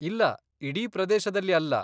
ಇಲ್ಲ, ಇಡೀ ಪ್ರದೇಶದಲ್ಲಿ ಅಲ್ಲ.